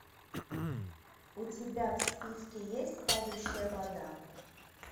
у тебя в списке есть падающая вода